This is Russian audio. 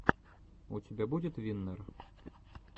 у тебя будет виннер